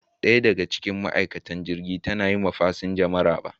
Daya daga cikin ma'aikatan jirgin ta na yi wa fasinja maraba.